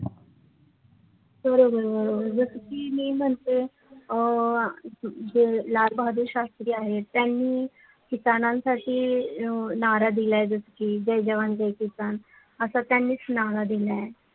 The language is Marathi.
बरोबर बरोबर जस की मी म्हणते अ जे लाल बहादूर शास्री आहेत त्यांनी किसानासाठी नारा दिला जस की जय जवान जय किसान अस त्यांनीच नारा दिला